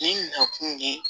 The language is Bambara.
Ni na kun ye